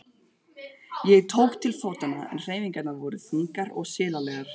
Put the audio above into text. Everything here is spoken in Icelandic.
Ég tók til fótanna en hreyfingarnar voru þungar og silalegar.